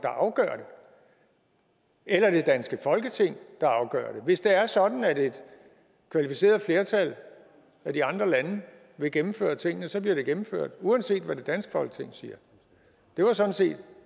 der afgør det eller det danske folketing der afgør det hvis det er sådan at et kvalificeret flertal af de andre lande vil gennemføre tingene så bliver de gennemført uanset hvad det danske folketing siger det var sådan set